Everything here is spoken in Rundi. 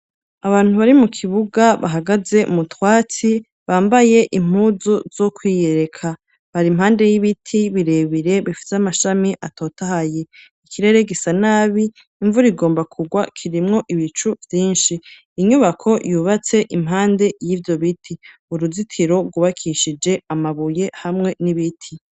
Abantu bari mu kibuga, bahagaze umutwatsi ,bambaye impuzu z'ukwiyereka, bari impande y'ibiti birebire ,bifite amashami atotahaye, ikirere gisa nabi, imvura igomba kugwa kirimwo ibicu vyinshi inyubako yubatse impande y'ivyo biti ,uruzitiro rwubakishije amabuye hamwe n'ibiti.